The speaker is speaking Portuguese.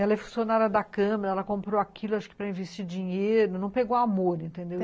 Ela é funcionária da câmara, ela comprou aquilo acho que para investir dinheiro, não pegou amor, entendeu?